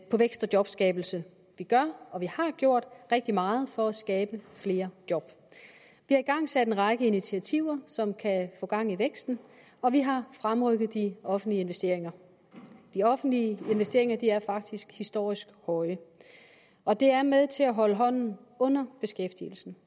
på vækst og jobskabelse vi gør og vi har gjort rigtig meget for at skabe flere job vi har igangsat en række initiativer som kan få gang i væksten og vi har fremrykket de offentlige investeringer de offentlige investeringer er faktisk historisk høje og det er med til at holde hånden under beskæftigelsen